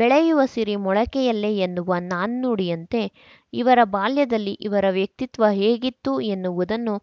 ಬೆಳೆಯುವ ಸಿರಿ ಮೊಳಕೆಯಲ್ಲೇ ಎನ್ನುವ ನಾಣ್ಣುಡಿಯಂತೆ ಇವರ ಬಾಲ್ಯದಲ್ಲಿ ಇವರ ವ್ಯಕ್ತಿತ್ವ ಹೇಗಿತ್ತು ಎನ್ನುವುದನ್ನು